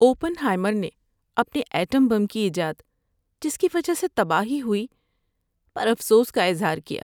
Open ہائیمر نے اپنے atom bomb کی ایجاد، جس کی وجہ سے تباہی ہوئی، پر افسوس کا اظہار کیا۔